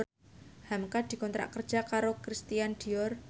hamka dikontrak kerja karo Christian Dior